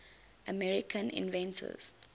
american inventors